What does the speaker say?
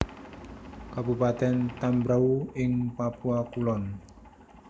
Kabupatèn Tambrauw ing Papua Kulon